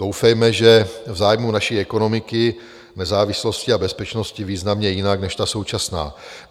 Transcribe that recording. Doufejme, že v zájmu naší ekonomiky, nezávislosti a bezpečnosti významně jinak než ta současná.